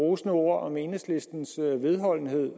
rosende ord om enhedslistens vedholdenhed